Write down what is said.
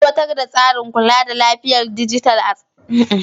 Ka aiwatar da tsarin kula da lafiyar dijital a cikin gidan jinyar.